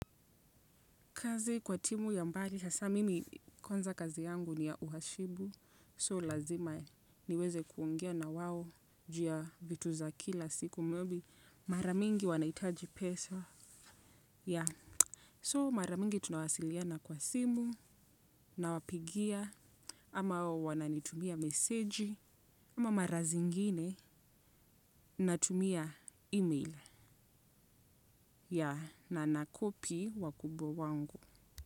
Kazi kwa timu ya mbali hasa mimi kwanza kazi yangu ni ya uhashibu so lazima niweze kuongea na wao juu ya vitu za kila siku mabye mara mingi wanahitaji pesa yaa. So mara mingi tunawasiliana kwa simu nawapigia ama wao wananitumia meseji ama mara zingine natumia email ya na na copy wakubwa wangu.